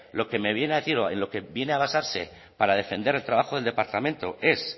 lo que me viene a decir o en lo que viene a basarse para defender el trabajo del departamento es